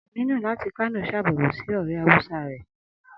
Aminu láti Kano ṣàbẹ̀wò sí ọ̀rẹ́ hausa rẹ̀